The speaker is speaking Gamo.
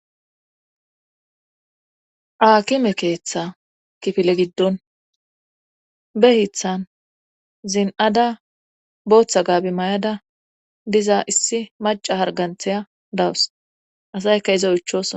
aakime keeththa kifile giddon be hithan zin7ada booththa gaabi may7ada diza issi maca harganthaya dawus asayka izo ychos